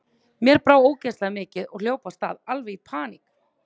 Mér brá ógeðslega mikið og hljóp af stað, alveg í paník.